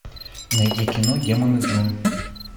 найди кино демоны джун